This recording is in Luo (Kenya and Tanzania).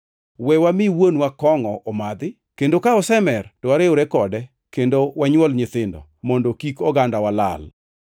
We wami wuonwa kongʼo omadhi kendo ka osemer, to wariwre kode kendo wanywol nyithindo mondo kik ogandawa lal.”